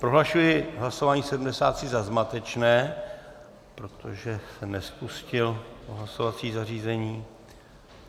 Prohlašuji hlasování 73 za zmatečné, protože jsem nespustil hlasovací zařízení.